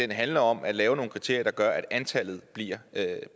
med handler om at lave nogle kriterier der gør at antallet bliver